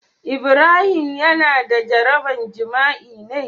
Ibrahim Yana da jaraban jima'i me?